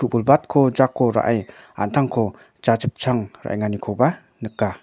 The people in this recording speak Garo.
jako ra·e an·tangko jachipchang ra·enganikoba nika.